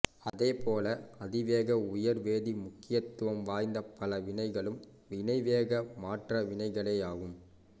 அதேபோல அதிக உயிர்வேதி முக்கியத்துவம் வாய்ந்த பல வினைகளும் வினைவேக மாற்ற வினைகளேயாகும்